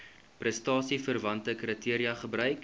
prestasieverwante kriteria gebruik